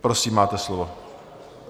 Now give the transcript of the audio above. Prosím, máte slovo.